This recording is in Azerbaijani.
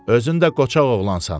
Özün də qoçaq oğlansan.